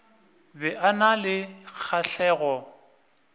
be a na le kgahlego